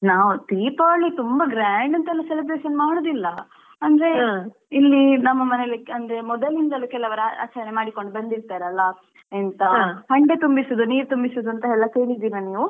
ನಾವು ದೀಪಾವಳಿ ತುಂಬ grand ಅಂತೆಲ್ಲ celebration ಮಾಡುದಿಲ್ಲಾ ಅಂದ್ರೆ ಇಲ್ಲಿ ನಮ್ಮ ಮನೆಯಲ್ಲಿ ಅಂದ್ರೆ ಮೊದಲಿಂದ್ಲು ಕೆಲವರು ಆಚರಣೆ ಮಾಡಿಕೊಂಡು ಬಂದಿರ್ತಾರೆ ಅಲ್ಲಾ ಎಂತಾ ಹಂಡೆ ತುಂಬಿಸುವುದು ನೀರು ತುಂಬಿಸುವುದು ಎಂತೆಲ್ಲಾ ಕೇಳಿದಿರಾ ನೀವು?